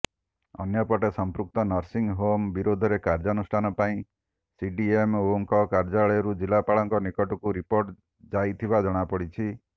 ଅନ୍ୟପଟେ ସମ୍ପୃକ୍ତ nursing home ବିରୋଧରେ କାର୍ଯ୍ୟାନୁଷ୍ଠାନ ପାଇଁ ସିଡିଏମ୍ଓଙ୍କ କାର୍ଯ୍ୟାଳୟରୁ ଜିଲ୍ଲାପାଳଙ୍କ ନିକଟକୁ ରିପୋର୍ଟ ଯାଇଥିବା ଜଣାପଡ଼ିଛି